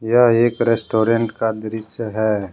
यह एक रेस्टोरेंट का दृश्य है।